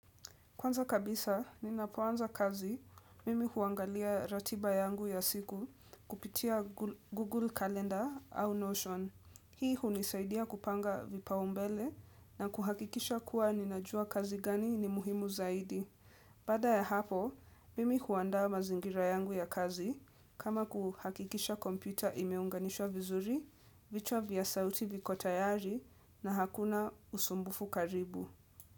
Kwanza kabisa, ninapuanza kazi, mimi huangalia ratiba yangu ya siku kupitia Google Calendar au Notion. Hii hunisaidia kupanga vipa umbele na kuhakikisha kuwa ninajua kazi gani ni muhimu zaidi. Baada ya hapo, mimi huanda mazingira yangu ya kazi kama kuhakikisha kompyuta imeunganishwa vizuri, vichwa vya sauti viko tayari na hakuna usumbufu karibu.